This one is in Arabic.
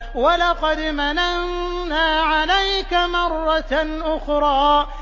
وَلَقَدْ مَنَنَّا عَلَيْكَ مَرَّةً أُخْرَىٰ